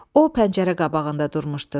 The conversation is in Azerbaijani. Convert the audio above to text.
O pəncərə qabağında durmuşdu.